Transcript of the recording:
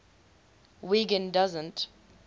wiggin doesn t